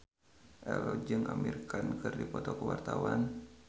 Ello jeung Amir Khan keur dipoto ku wartawan